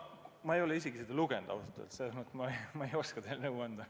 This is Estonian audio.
Ma ei ole ausalt öeldes isegi seda lugenud ja selles mõttes ei oska nõu anda.